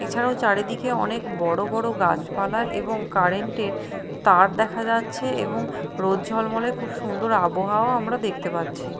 এছাড়াও চারিদিকে অনেক বড় বড় গাছপালা এবং কারেন্ট -এর তার দেখা যাচ্ছে এবং রোদ ঝলমলে খুব সুন্দর আবহাওয়াও আমরা দেখতে পাচ্ছি।